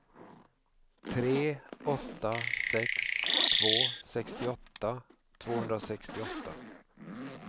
tre åtta sex två sextioåtta tvåhundrasextioåtta